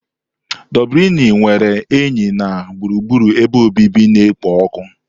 Doblini nwere enyi na gburugburu ebe obibi na-ekpo ọkụ.